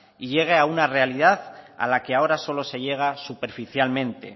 y llegue a una realidad a la que ahora solo se llega superficialmente